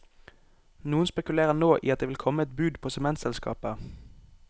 Noen spekulerer nå i at det vil komme et bud på sementselskapet.